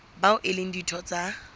bao e leng ditho tsa